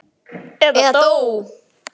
Eða dó.